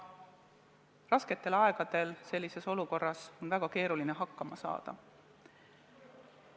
Rasketel aegadel on sellises olukorras väga keeruline hakkama saada.